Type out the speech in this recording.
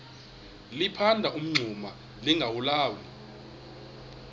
liphanda umngxuma lingawulali